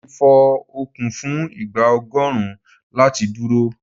Mo lè fo okùn fún ìgbà ọgọ́rùn-ún láì dúró.